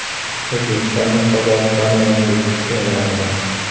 O‘zbekistonda Qozog‘istonning yangi elchisi tayinlandi.